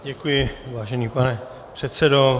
Děkuji, vážený pane předsedo.